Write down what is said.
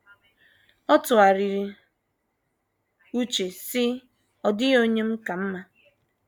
Ọ tụgharịrị uche, sị: “ Ọ dịghị onye m ka mma.